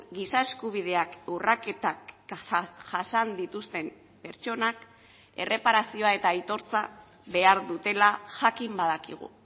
giza eskubideak urraketak jasan dituzten pertsonak erreparazioa eta aitortza behar dutela jakin badakigu